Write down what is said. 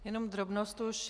Jenom drobnost už.